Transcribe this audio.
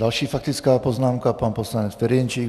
Další faktická poznámka - pan poslanec Ferjenčík.